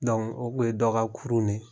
o Kun ye dɔ ka kurun de ye.